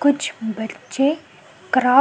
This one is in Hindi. कुछ बच्चे क्राफ्ट --